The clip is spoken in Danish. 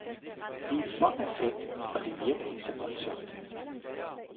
Det er for perfekt, og det virker ikke så voldsomt.